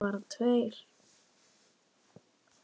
Hverjir töpuðu?